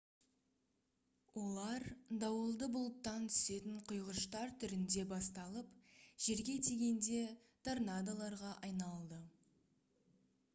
олар дауылды бұлттан түсетін «құйғыштар» түрінде басталып жерге тигенде «торнадоларға» айналады